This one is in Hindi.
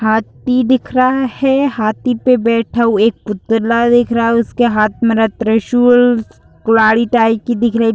हाती दिख रहा है हाती पे बैठा हुआ एक पुतला दिख रहा है। उसके हाथ में रा त्रिशूल कुल्हाड़ी टाइप की दिख रही --